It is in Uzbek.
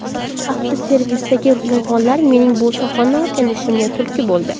Avtoservisdagi yolg‘onlar mening bu sohani o‘rganishimga turtki bo‘ldi.